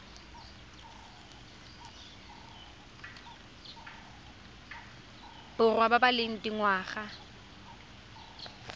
borwa ba ba leng dingwaga